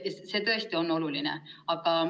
See on tõesti oluline.